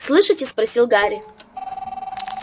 слышите спросил гарри